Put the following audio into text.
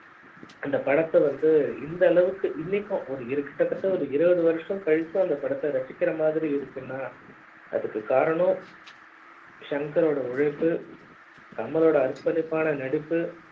அந்த பட த்த வந்து இந்த அளவுக்கு இன்னைக்கும் ஒரு இருக்குற கிட்ட தட்ட இருபது வருஷம் கழிச்சு அந்த பட த்த ரசிக்கிற மாதிரி இருக்குனா அதுக்கு காரணம் ஷங்க ரோட உழைப்பு கமலோட அர்ப்பணிப்பான நடிப்பு